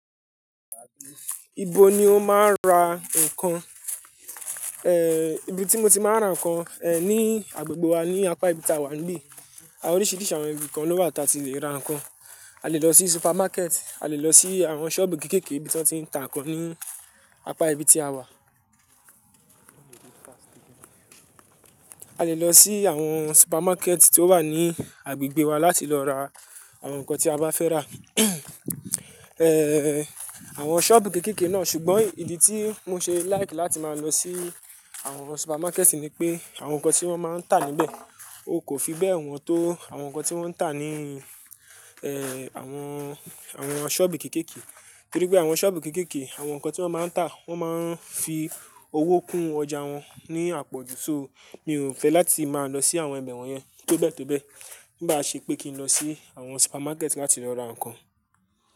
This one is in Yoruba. Ibo ni o máa ń ra nǹkan? Ibi tí mo ti máa ń ra nǹkan ní agbègbè wa ní apá ibi tí a wà níbí, àwọn oríṣìíríṣìí àwọn ibi kan ló wà ta ti le ra nǹkan. A le lọ sí supermarket, a le lọ sí àwọn sọ́ọ̀bù kéékèèké ibi tí wọ́n ti ń ta nǹkan ní apá ibi tí a wà. A le lọ sí àwọn supermarket tí ó wà ní agbègbè wa láti lọ ra àwọn nǹkan tí a bá fẹ́ rà. Àwọn sọ́ọ̀bù kéékèèké náà, ṣùgbọ́n ìdí tí mo ṣe like láti máa lọ sí àwọn supermarket ni pé àwọn nǹkan tí wọ́n máa ń tà níbẹ̀, o kò fi bẹ́ẹ̀ wọ́n tó àwọn nǹkan tí wọ́n ń tà ní àwọn, àwọn sọ́ọ̀bù kéékèèké. Torí pé àwọn sọ́ọ̀bù kéékèèké, àwọn nǹkan tí wọ́n máa ń tà wọ́n máa ń fi owó kún ọjà wọn ní àpọ̀jù. So, mi ò fẹ́ láti máa lọ sí àwọn ibẹ̀ wọ́n yẹn tó bẹ́ẹ̀ tó bẹ́ẹ̀. Bá ṣe pé kí n lọ sí àwọn supermarket láti lọ ra nǹkan.